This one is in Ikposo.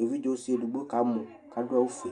Evɩdze ɔsɩ edigbo kamɔ kadʊ awʊ fue